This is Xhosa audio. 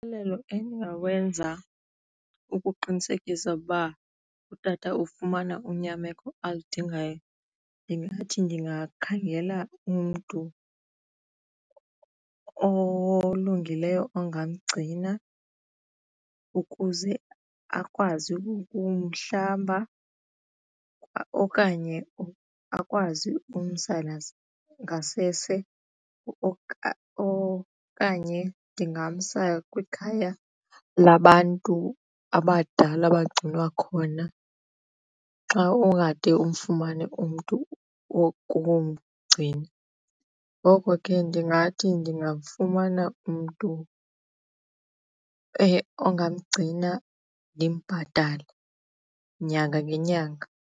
endingawenza ukuqinisekisa ukuba utata ufumana unyameko aludingayo ndingathi ndingakhangela umntu olungileyo ongamgcina ukuze akwazi ukumhlamba okanye akwazi umsa ngasese okanye ndingamsa kwikhaya labantu abadala abagcinwa khona xa ungade umfumane umntu wokumgcina. Ngoko ke ndingathi ndingamfumana umntu ongamgcina ndimbhatale nyanga nenyanga.